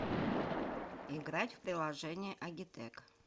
играть в приложение агитек